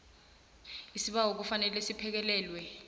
isibawo kufanele siphekelelwe